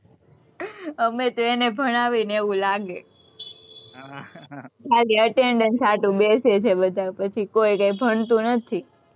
અમે તો એને ભણાવીએ ને એવું લાગે, ખાલી attendance હાટુ બેસે છે બધા પછી કોઈ કઈ ભણતું નથી,